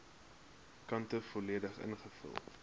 kante volledig ingevul